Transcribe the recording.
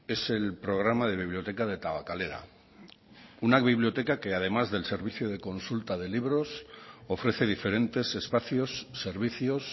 es el programa de biblioteca de tabakalera una biblioteca que además del servicio de consulta de libros ofrece diferentes espacios servicios